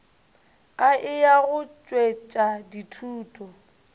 a eya go tšwetša dithuto